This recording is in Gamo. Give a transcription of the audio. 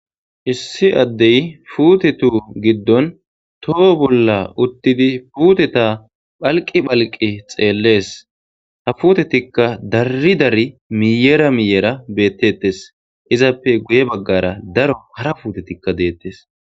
Hssi addey puutetu giddon toho bolla uttidi puuteta phalqi phalqi xeellees ha puutetikka darri dari miyera miyera beettettes izappe guye baggara daro hara puutetikka deettes.